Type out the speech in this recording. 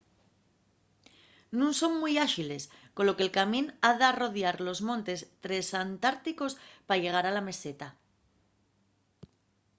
nun son mui áxiles colo que’l camín ha d’arrodiar los montes tresantárticos pa llegar a la meseta